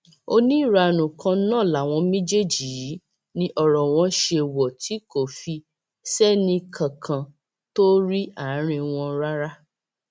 oníranú kan náà làwọn méjèèjì yìí ní ọrọ wọn ṣe wò tí kò fi sẹnìkànkan tó rí àárín wọn rárá